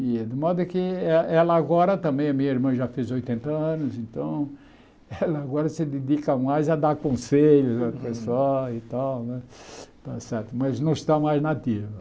E de modo que eh ela agora também, a minha irmã já fez oitenta anos, então ela agora se dedica mais a dar conselhos ao pessoal e tal né está certo, mas não está mais na ativa.